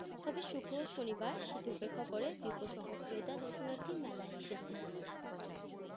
তবে শুক্র ও শনিবার শীত উপেক্ষা করে বিপুল সংখ্যক ক্রেতা দর্শনার্থী মেলায় এসেছেন।